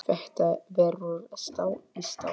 Þetta verður stál í stál.